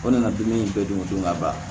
O nana dumuni bɛɛ dun o don ka ban